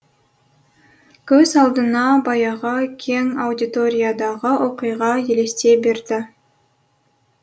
көз алдына баяғы кең аудиториядағы оқиға елестей берді